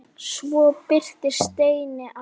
Svo birtist Steini aftur.